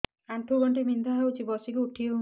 ଆଣ୍ଠୁ ଗଣ୍ଠି ବିନ୍ଧା ହଉଚି ବସିକି ଉଠି ହଉନି